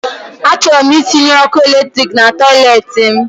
A chọrọ m itinye ọkụ eletriki na toilet m